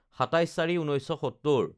২৭/০৪/১৯৭০